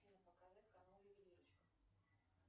показать канал ювелирочка